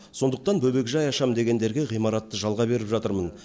сондықтан бөбекжай ашамын дегендерге ғимаратты жалға беріп жатырмын